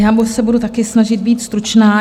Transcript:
Já se budu také snažit být stručná.